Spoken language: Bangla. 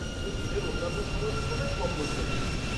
শুধু দিনের অন্যান্য সময়ের তুলনায় কম লোকজন থাকবে।